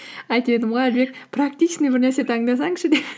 айтып едім ғой әлібек практичный бір нәрсе таңдасаңшы